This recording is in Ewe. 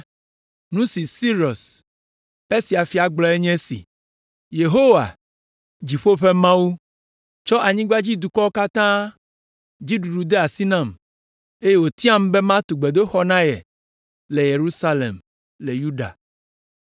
Nu si Sirus, Persia fia gblɔe nye esi: “Yehowa, dziƒo ƒe Mawu, tsɔ anyigbadzidukɔwo katã dzi ɖuɖu de asi nam, eye wòtiam be matu gbedoxɔ na ye le Yerusalem, le Yuda.